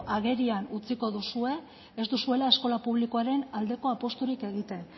agerian utziko duzue ez duzuela eskola publikoaren aldeko apusturik egiten